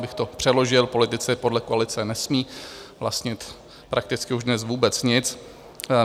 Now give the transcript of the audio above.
Abych to přeložil, politici podle koalice nesmí vlastnit prakticky už dnes vůbec nic.